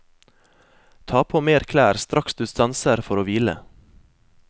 Ta på mer klær straks du stanser for å hvile.